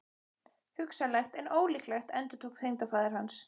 Hugsanlegt en ólíklegt endurtók tengdafaðir hans.